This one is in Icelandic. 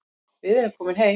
Við erum komin heim